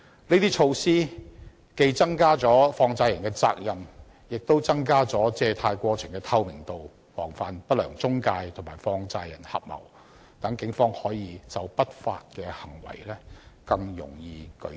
這些措施既增加了放債人的責任，亦增加了借貸過程的透明度，防範不良中介公司和放債人合謀，讓警方可以就不法行為更容易舉證。